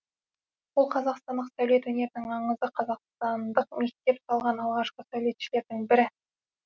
ол қазақстандық сәулет өнерінің аңызы қазақстандық мектеп салған алғашқы сәулетшілердің бірі